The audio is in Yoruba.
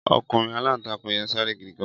Ọkùnrin aláǹtakùn yẹn sáré gidi gan.